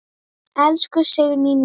Elsku Signý mín.